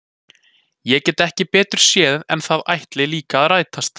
Ég get ekki betur séð en að það ætli líka að rætast!